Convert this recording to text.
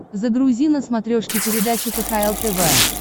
загрузи на смотрешке передачу кхл тв